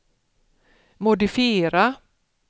modifiera